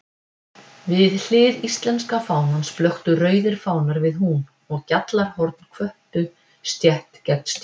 Við hlið íslenska fánans blöktu rauðir fánar við hún, og gjallarhorn hvöttu stétt gegn stétt.